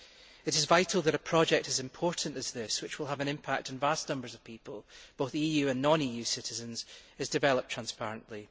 It is vital that a project as important as this, which will have an impact on vast numbers of people both EU and non EU citizens is developed transparently.